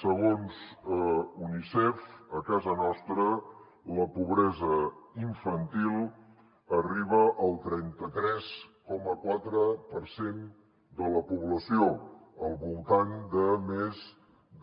segons unicef a casa nostra la pobresa infantil arriba al trenta tres coma quatre per cent de la població al voltant de més